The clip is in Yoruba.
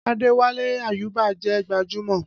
Adéwálé Àyúbà jẹ́ gbajúmọ̀